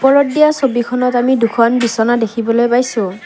ৰ'দ দিয়া ছবিখনত আমি দুখন বিছনা দেখিবলৈ পাইছোঁ।